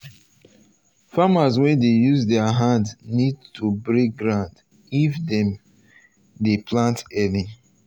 farmers wey dey use their hands need to break ground if dem plant early.